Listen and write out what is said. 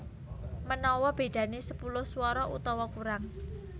Manawa bedané sepuluh swara utawa kurang